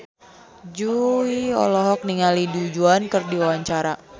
Jui olohok ningali Du Juan keur diwawancara